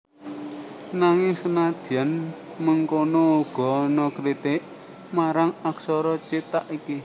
Nanging senadyan mengkono uga ana kritik marang aksara cithak iki